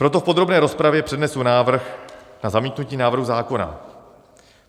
Proto v podrobné rozpravě přednesu návrh na zamítnutí návrhu zákona.